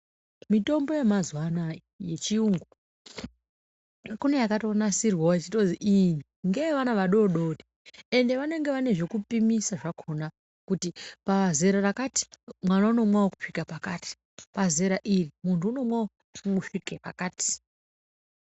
Mitombo yamazuva anaya yechiyungu kune yakatonasirwavo yechitozi iyi ngeye vana vadodori. Ende vanenge vane zvekupimisa zvakona kuti pazera rakati mwana unomwavo kusvika pakati, pazera iri muntu unomwavo kusvike pakati.